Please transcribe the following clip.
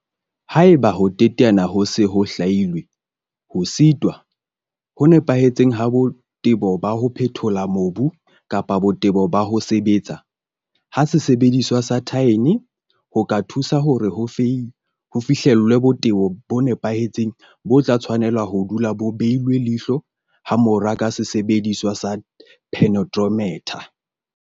Haeba ho teteana ho itseng ho se ho hlwailwe, ho setwa ho nepahetseng ha botebo ba ho phethola mobu kapa botebo ba ho sebetsa ha sesebediswa sa thaene ho ka thusa hore ho fihlellwe botebo bo nepahetseng bo tla tshwanela ho dula bo beilwe leihlo hamorao ka sesebediswa sa penetrometer.